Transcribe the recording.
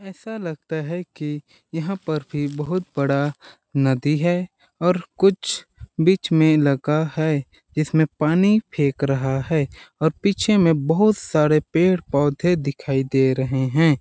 ऐसा लगता है कि यहां पर भी बहुत बड़ा नदी है और कुछ बीच में लगा है इसमें पानी फेंक रहा है और पीछे में बहुत सारे पेड़-पौधे दिखाई दे रहे हैं।